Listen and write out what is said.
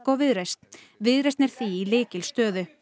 og Viðreisn viðreisn er því í lykilstöðu